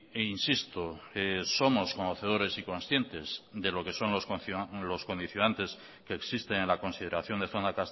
e insisto somos conocedores y conscientes de lo que son los condicionantes que existen en la consideración de zona